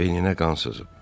Beyninə qan sızıb.